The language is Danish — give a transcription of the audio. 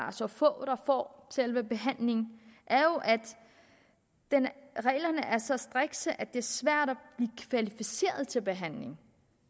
er så få der får selve behandlingen er jo at reglerne er så strikse at det er svært at til behandling